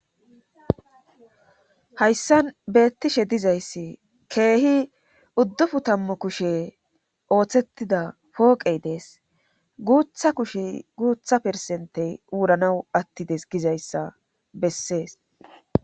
hayssan beettishe dizayssi keehi uuduppun tammu kushe ooththettida pooqey dees guutha kushe guutha peresentey wuranaw attides gizayssa bessees